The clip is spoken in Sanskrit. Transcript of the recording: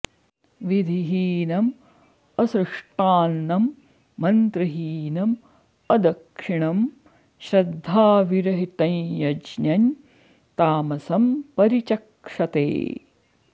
विधिहीनम् असृष्टान्नं मन्त्रहीनम् अदक्षिणं श्रद्धाविरहितं यज्ञं तामसं परिचक्षते